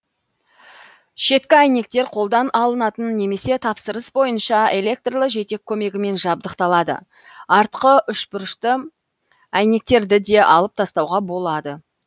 шеткі әйнектер қолдан алынатын немесе тапсырыс бойынша электрлі жетек көмегімен жабдықталады артқы үшбұрышты әйнектерді де алып тастауға болады